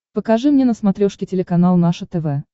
покажи мне на смотрешке телеканал наше тв